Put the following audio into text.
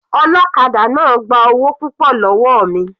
Ọlọ́kadà náà gba owó púpọ̀ lọ́wọ́ mi.